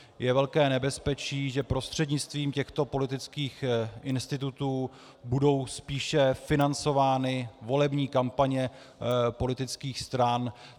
Je velké nebezpečí, že prostřednictvím těchto politických institutů budou spíše financovány volební kampaně politických stran.